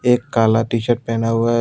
एक काला टीशर्ट पहना हुआ है।